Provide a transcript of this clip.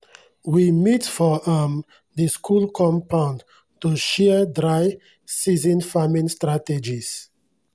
we meet for um di school compound to share dry-season farming strategies.